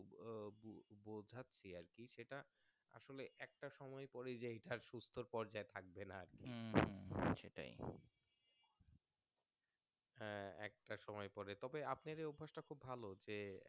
একটা সময় পরেই যে এইটা আর সুস্থর পর্যায়ে থাকবে না আহ একটা সময় পরে তবে আপনাদের অভ্যাসটা খুব ভালো